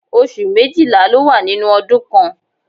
Oṣù méjìlá ló wà nínú ọdún kan.